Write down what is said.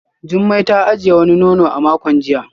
Jumai ta ajiye wani nono a makon jiya